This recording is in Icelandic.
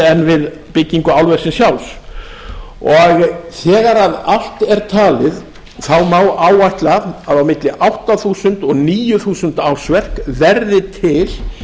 en við byggingu álversins sjálfs þegar allt er talið má áætla að á milli átta þúsund og níu þúsund ársverk verði til